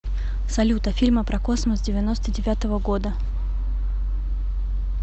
салют а фильмы про космос девяносто девятого года